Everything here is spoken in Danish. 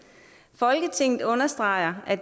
folketinget understreger at